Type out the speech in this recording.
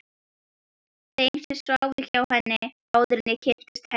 Þeim sem sváfu hjá henni, áður en ég kynntist henni.